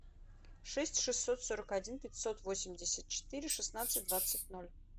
шесть шестьсот сорок один пятьсот восемьдесят четыре шестнадцать двадцать ноль